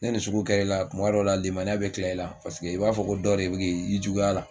Ne ni sugu kɛr'i la kuma dɔ la limaniya bɛ kila i la paseke i b'a fɔ ko dɔ de bɛ k'i juguya a la